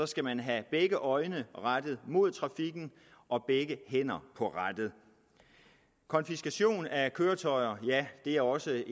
skal man have begge øjne rettet mod trafikken og begge hænder på rattet konfiskation af køretøjer er også